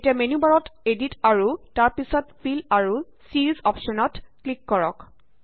এতিয়া মেন্যু বাৰত এদিট আৰু তাৰ পাছত ফিল আৰু ছিৰিজ অপশ্যনত ক্লিক কৰক